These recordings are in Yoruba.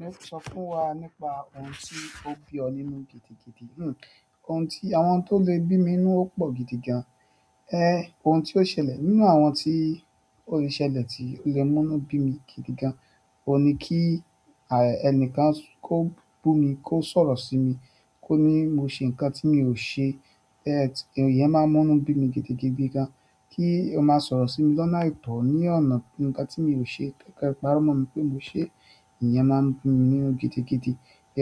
Yóò sọ fún wa nípa ohun tí ó bí ọ nínú gidigidi. Hmmm ohun tí àwọn tó lè bí mi inú ó pò gidigan. Eh! Ohun tí ó ṣẹlẹ̀ nínú àwọn tí ó lè ṣẹlẹ̀ tí ó lè múnú bí mi gidigan, ò ní kí ẹni kan kó bù mi kó sọ̀rọ̀ sí mi kó ní mo ṣe nǹkan tí mi ò ṣe. Eh! Ìyẹn máa ń múnú bí mi gidigidi gan. Kí ó máa sọ̀rọ̀ sí mi lọ́nà ẹ̀tọ́ ní ọ̀nà ǹkan tí mo ò ṣe tẹ́kẹ̀ẹ̀parọ́ mọ̀ pé mo ṣe, ìyẹn máa ń bi mi nínú gidigidi.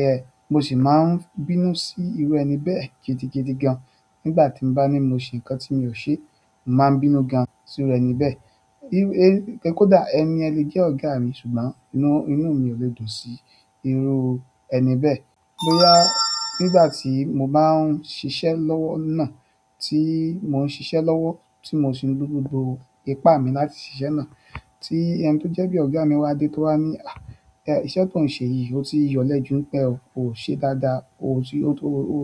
Eh! Mo sì máa ń bínú sí irú ẹni bẹ́ẹ̀ gidigidi gan. Nígbà tí mo bá ní mo ṣe ǹkan tí mi ò ṣe, màá bínú gan sí irú ẹni bẹ́ẹ̀. E kó dà ẹni ẹni lè jẹ́ ọ̀gá mi ṣùgbọ́n inú inú mi ò lè dùn sí irú ẹni bẹ́ẹ̀. Bóyá nígbà tí mo bá ń ṣiṣẹ́ lọ́wọ́ náà tí mo ń ṣiṣẹ́ lọ́wọ́ tí mo sì ń gbé gbogbo ipá mi láti sise na ti ẹni to je bi ogami wa de to wa ni a iṣẹ́ ti on se yi o ti ya ole ju nípa e o se dáadáa o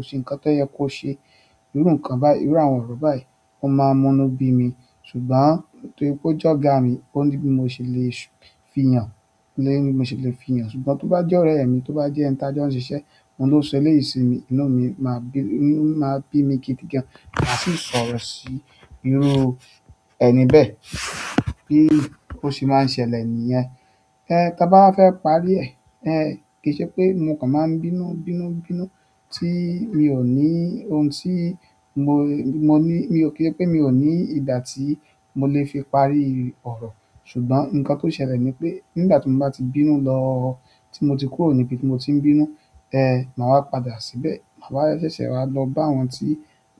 se nkan to ye kose iru àwọn nkán báyìí iru àwọn oro báyìí. Ó máa ń múnú bí mi ṣùgbọ́n torí pé ó jẹ́ ọ̀gá mi ó ní bí mo ṣe lè fiyàn lè bí mo ṣe lè fiyàn ṣùgbọ́n tó bá jẹ́ ọ̀rẹ́ mi tó bá jẹ́ ẹni tí a jẹ́ ń ṣiṣẹ́ ohun tó ṣe lè sinmi inú mi máa bí mi gidigan màá sì sọ̀rọ̀ sí irú ẹni bẹ́ẹ̀ bí ó ṣe máa ń ṣẹlẹ̀ nìyẹn. Eh! Taa bá wafẹ́ parí ẹ̀ kì í ṣe pé mo nǹkan máa ń bínú bínú bínú tí mi ò ní ohun tí mo mo ní mi ò kí pé mi ò ní ìgbà tí mo lè fi parí ọ̀rọ̀ ṣùgbọ́n ǹkan tó ṣẹlẹ̀ ni pé nígbà tí mo bá ti bínú lọ ti mo ti kúrò nibi ti mo ti n bínú mawa padà síbẹ̀ mawa ṣẹṣẹ wa lo ba àwọn ti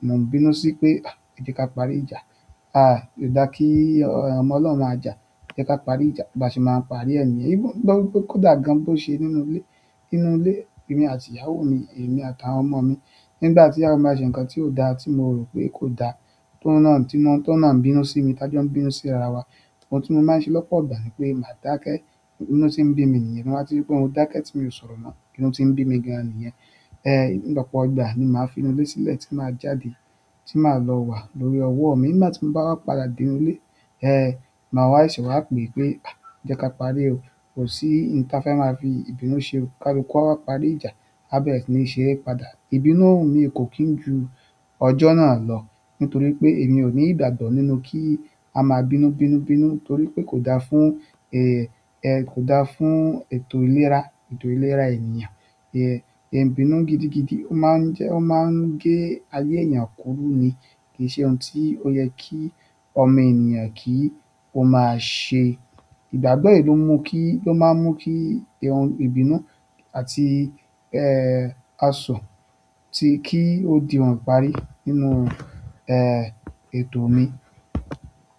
mo n bínú si pe ẹja ka parí ìjà ko da ki ọmọ ọlọhun maa ja e je ka parí ìjà ba se maa n parí e niyen. Bí i kó dà gan bó ṣe nínú ilé nínú ilé mi àti ìyàwó mi èmi àtàwọn ọmọ mi nígbà tí ìyàwó máa ṣe ǹkan tí ò dá tí mo rò pé kò dá tó náà tí mo tó náà ń bínú sí i tí a jẹ́ ń bínú sí ara wa òun ti mo maa n se lọ́pọ̀ ìgbà n'ipe máa dake inú ti bimi niyen to ba ti ri pe mo dake ti mio sọ̀rọ̀ mo inú ti n bi mi gan niyen. Eh! Lọ́pọ̀ ọgbà ni màá finu ilé sílẹ̀ tí màá jáde tí màá lọ wà lórí ọwọ́ mi nígbà tí mo bá wá padà dé ilé eh màá wá ṣẹ̀ wá pè pé "à jẹ́ ká parí o, kò sí ohun tí a fẹ́ máa fi ìbínú ṣe o, ká lu ku awá parí ìjà" bẹ́ẹ̀re si ni ṣẹ́rẹ́ padà. Ìbínú mi kò kín ju ọjọ́ náà lọ nítorí pé èmi ò ní ìgbàgbọ́ nínú kí a máa bínú bínú bínú torí pé kò dáa fún eh kò dáa fún ètò ìlera ètò ìlera ènìyàn. Eh! Ìbínú gidigidi ó máa ń jẹ́ ó máa ń gé ayé ènìyàn kúrú ni kì í ṣe ohun tí ó yẹ kí ọmọ ènìyàn kí ó máa ṣe. Ìgbàgbọ́ èyí ló mú kí ló máa ń mú kí ohun ìbínú àti eh asọ̀ ti kí ó di ohun ìparí nínú eh ètò mi.